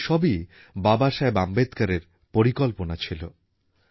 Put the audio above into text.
কল্পনা করেছিলেন জলসংরক্ষণ আর ব্যবহারের জন্যে থাকবে নানান কার্যনির্বাহী সমিতি